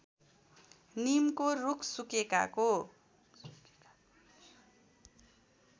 नीमको रुख सुकेकाको